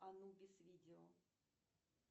анубис видео